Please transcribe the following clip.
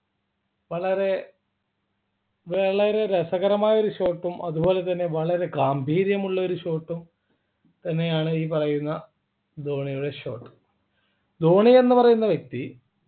വളരെ വളരെ രസകരമായ ഒരു short ഉം അതുപോലെ തന്നെ വളരെ ഗാംഭീര്യമുള്ള ഒരു short ഉം തന്നെയാണ് ഈ പറയുന്ന ധോണിയുടെ short ധോണി എന്നുപറയുന്ന വ്യക്തി